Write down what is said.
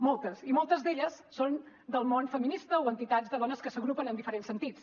moltes i moltes d’elles són del món feminista o entitats de dones que s’agrupen en diferents sentits